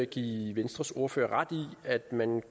give venstres ordfører ret i at man